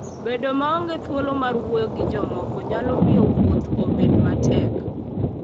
Bedo maonge thuolo mar wuoyo gi jomoko nyalo miyo wuoth obed matek.